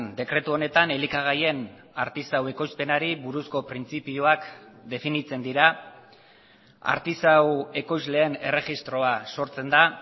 dekretu honetan elikagaien artisau ekoizpenari buruzko printzipioak definitzen dira artisau ekoizleen erregistroa sortzen da